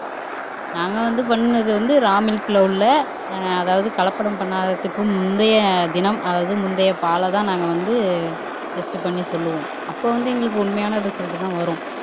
நாங்க வந்து பண்ணுனது வந்து ரா மில்க்ல உள்ள ஆஹ் அதாவது கலப்படம் பண்ணாததுக்கு முந்தைய தினம் அதாவது முந்தைய பாலைதான் நாங்க வந்து டெஸ்ட் பண்ணி சொல்லுவோம் அப்ப வந்து எங்களுக்கு உண்மையான ரிசல்ட் தான் வரும்